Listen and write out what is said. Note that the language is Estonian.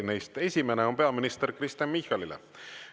Neist esimene on peaminister Kristen Michalile.